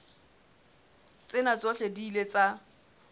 tsena tsohle di ile tsa